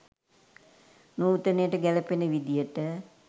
නූතනයට ගැලපෙන විදියට